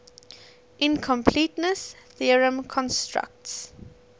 incompleteness theorem constructs